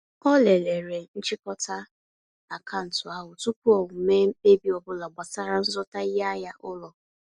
Ọ lelere nchịkọta akaụntụ ahụ tụpụ o mee mkpebi ọbụla gbasara nzụta iheahịa ụlọ.